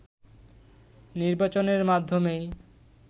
নির্বাচনের মাধ্যমেই